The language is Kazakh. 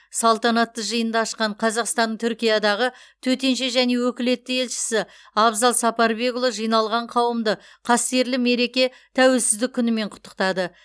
салтанатты жиынды ашқан қазақстанның түркиядағы төтенше және өкілетті елшісі абзал сапарбекұлы жиналған қауымды қастерлі мереке тәуелсіздік күнімен құттықтады